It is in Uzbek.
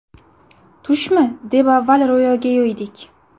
Tushmi, deb avval Ro‘yoga yo‘ydik.